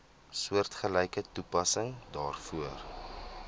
soortgelyke toepassing daarvoor